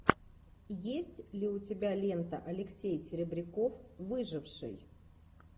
есть ли у тебя лента алексей серебряков выживший